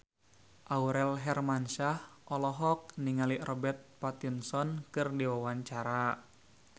Aurel Hermansyah olohok ningali Robert Pattinson keur diwawancara